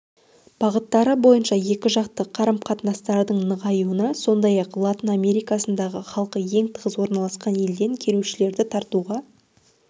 бағыттары бойынша екіжақты қарым-қатынастардың нығаюына сондай-ақ латын америкасындағы халқы ең тығыз орналасқан елден келушілерді тартуға